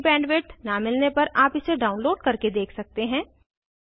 अच्छी बैंडविड्थ न मिलने पर आप इसे डाउनलोड करके देख सकते हैं